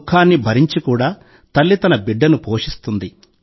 దుఃఖాన్ని భరించి కూడా తల్లి తన బిడ్డను పోషిస్తుంది